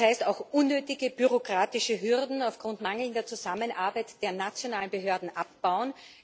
Das heißt auch, unnötige bürokratische Hürden aufgrund mangelnder Zusammenarbeit der nationalen Behörden abzubauen.